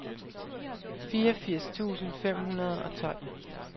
fireogfirs tusind fem hundrede og tolv